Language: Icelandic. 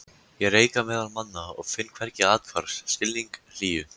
Ég reika meðal manna og finn hvergi athvarf, skilning, hlýju.